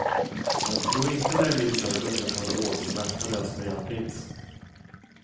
Jag tror inte det är min sak att upprätthålla ordning och vakta det som redan finns.